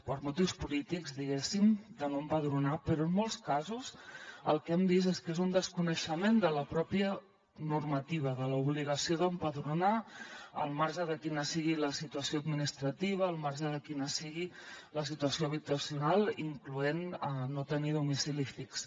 per motius polítics diguéssim de no empadronar però en molts casos el que hem vist és que és un desconeixement de la pròpia normativa de l’obligació d’empadronar al marge de quina sigui la situació administrativa al marge de quina sigui la situació habitacional incloenthi el fet de no tenir domicili fix